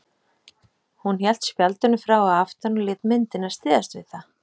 Hún hélt spjaldinu frá að aftan og lét myndina styðjast við það.